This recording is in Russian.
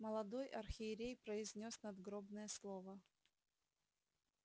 молодой архиерей произнёс надгробное слово